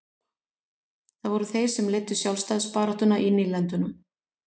Það voru þeir sem leiddu sjálfstæðisbaráttuna í nýlendunum.